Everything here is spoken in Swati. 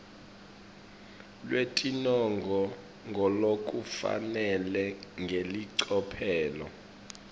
lwetinongo ngalokufanele ngelicophelo